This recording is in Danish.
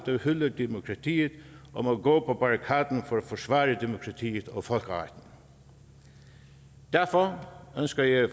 der hylder demokratiet om at gå på barrikaderne for at forsvare demokratiet og folkeretten derfor ønsker jeg